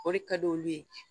O de ka di olu ye